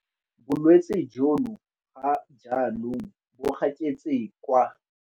Bolwetse jono ga jaanong bo gaketse kwa.